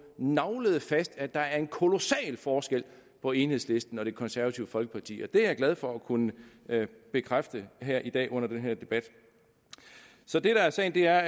naglet fast at der er en kolossal forskel på enhedslisten og det konservative folkeparti det er jeg glad for at kunne bekræfte her i dag under den her debat så det der er sagen er